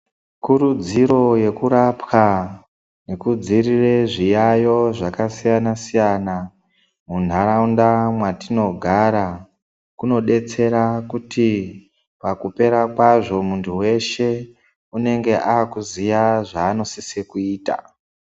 Kurudziro yekurapwa kudziirire zviyayo zvakasiyana siyana muntaraunda mwatinogara kunodetsera kuti pakupera kwazvo muntu weshe unenge akuziya zvanosise kuita.